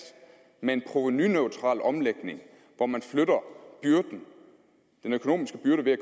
med en provenuneutral omlægning hvor man flytter den økonomiske byrde ved at